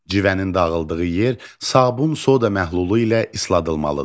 Civənin dağıldığı yer sabun soda məhlulu ilə isladılmalıdır.